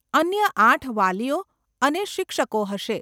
અન્ય આઠ વાલીઓ અને શિક્ષકો હશે.